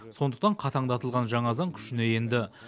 сондықтан қатаңдатылған жаңа заң күшіне енді